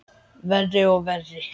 Verri og verri.